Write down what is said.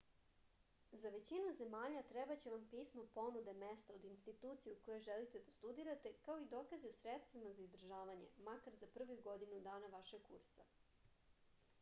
za većinu zemalja trebaće vam pismo ponude mesta od institucije u kojoj želite da studirate kao i dokazi o sredstvima za izdržavanje makar za prvih godinu dana vašeg kursa